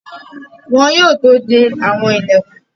Wọn yóò tó de àwọn ìlẹ̀kùn.